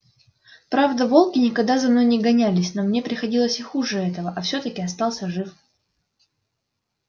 правда волки никогда за мной не гонялись но мне приходилось и хуже этого а всё-таки остался жив